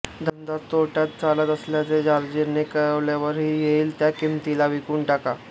धंदा तोट्यात चालत असल्याचे जॉर्जीने कळवल्यावरही येईल त्या किमतीला विकून टाका